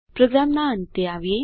પ્રોગ્રામના અંતે આવીએ